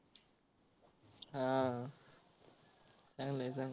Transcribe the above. हा चांगला आहे चा